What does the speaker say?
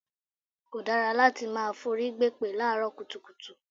Kò dára láti máa forí gbèpè láàárọ̀ kùtùkùtù.